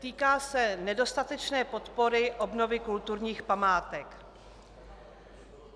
Týká se nedostatečné podpory obnovy kulturních památek.